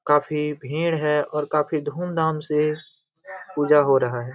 काफी भीड़ है और काफी धूमधाम से पूजा हो रहा है।